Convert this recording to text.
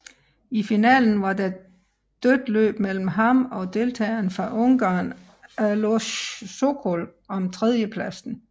I finalen var der dødt løb mellem ham og deltageren fra Ungarn Alojz Sokol om tredjepladsen